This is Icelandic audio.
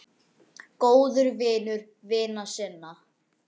Góður vinur vina sinna.